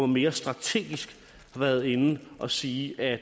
mere strategisk har været inde og sige at